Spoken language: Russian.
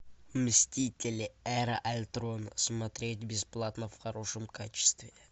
мстители эра альтрона смотреть бесплатно в хорошем качестве